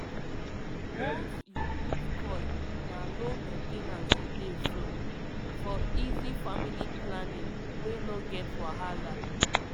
once you put coil na low main ten ance u dey so - for easy family planning wey no get wahala